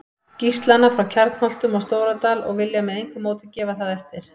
Gíslana frá Kjarnholtum og Stóradal og vilja með engu móti gefa það eftir.